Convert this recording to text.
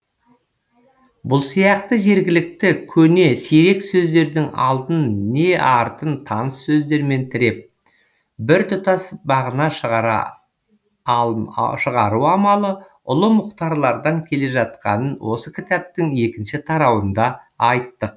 бұл сияқты жергілікті көне сирек сөздердің алдын не артын таныс сөздермен тіреп біртұтас мағына шығару амалы ұлы мұхтарлардан келе жатқанын осы кітаптың екінші тарауында айттық